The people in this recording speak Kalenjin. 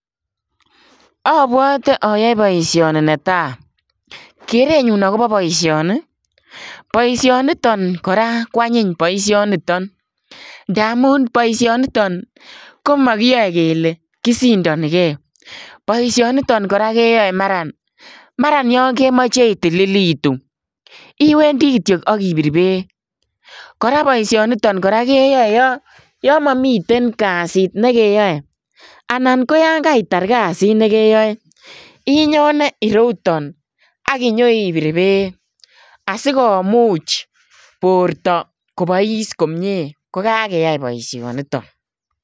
Abwatee ayae boisioni netaa geret nenyun agobo boisioni ii boisioniton ko anyiin ndamuun boisioniton ko makiyae kele kisindanigei boisioniton kora keyae maraan yaan kemachei itililituun iwendii kityoi agibir beek kora boishanitoon keyae yaan mamiten kasiit nekeyae anan ko yaan kaitar kasiit nekeyae Inyone ireuu yutoon aginyo ibiir beek asikomuuch bortoo kobais komyei ko kageyai boisioniton.